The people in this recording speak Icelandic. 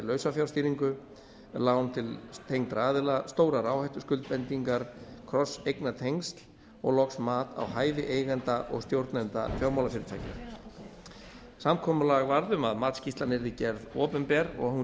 lausafjárstýringu lán til tengdra aðila stórar áhættuskuldbindingar krosseignatengsl og loks mat á hæfi eigenda og stjórnenda fjármálafyrirtækja samkomulag varð um að matsskýrslan yrði gerð opinber og að hún